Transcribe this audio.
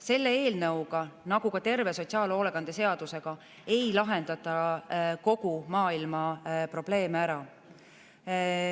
Selle eelnõuga nagu ka terve sotsiaalhoolekande seadusega ei lahendata kogu maailma probleeme ära.